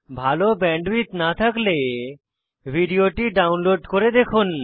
ভাল ব্যান্ডউইডথ না থাকলে ভিডিওটি ডাউনলোড করে দেখুন